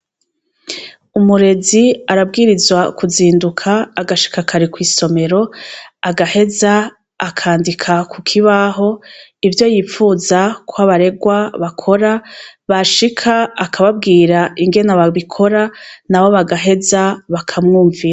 Umurezi arabwirizwa kuzinduka agashika kare kw' isomero agaheza akandika kukibaho ivyo yipfuza ko abaregwa bakora bashika akababwira ingene babikora nabo bagaheza bakamwumvira.